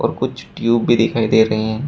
कुछ ट्यूब भी दिखाई दे रही हैं।